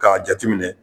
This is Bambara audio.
K'a jate minɛ